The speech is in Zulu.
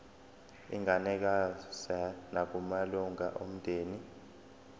inganikezswa nakumalunga omndeni